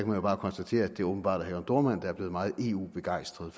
man jo bare konstatere at det åbenbart er herre jørn dohrmann der er blevet meget eu begejstret